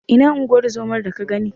Ina unguwar zomar da ka gani?